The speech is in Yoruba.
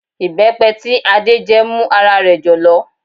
Ìbẹ́pẹ tí Adé jẹ́ mú ara rẹ̀ jọ̀lọ̀